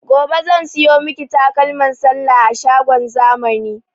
Gobe zan siyo miki takalman sallah a shagon zamani